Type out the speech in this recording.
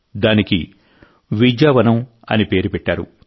దానికి విద్యావనం అని పేరు పెట్టారు